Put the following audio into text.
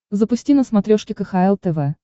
запусти на смотрешке кхл тв